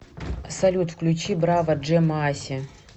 салют включи браво джэмоаси